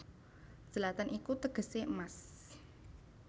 Zlatan iku tegesé emas